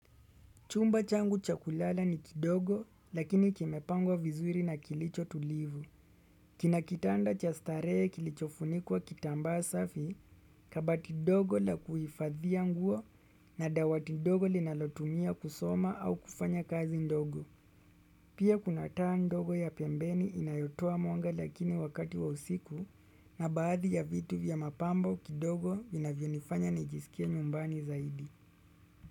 Chumba changu cha kulala ni kidogo lakini kimepangwa vizuri na kilicho tulivu. Kina kitanda cha starehe kilichofunikuwa kitambaa safi kabati dogo la kuhifadhia nguo na dawati dogo linalotumia kusoma au kufanya kazi ndogo. Pia kunataa ndogo ya pembeni inayotoa mwanga lakini wakati wa usiku na baadhi ya vitu vya mapambo kidogo vinavyonifanya nijisikia nyumbani zaidi.